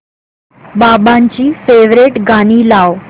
बाबांची फेवरिट गाणी लाव